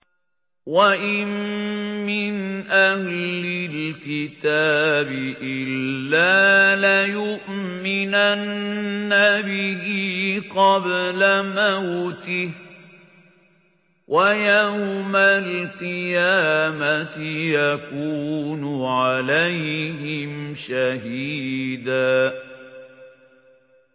وَإِن مِّنْ أَهْلِ الْكِتَابِ إِلَّا لَيُؤْمِنَنَّ بِهِ قَبْلَ مَوْتِهِ ۖ وَيَوْمَ الْقِيَامَةِ يَكُونُ عَلَيْهِمْ شَهِيدًا